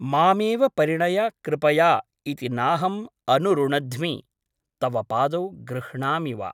मामेव परिणय कृपया ' इति नाहम् अनुरुणध्मि , तव पादौ गृह्णामि वा ।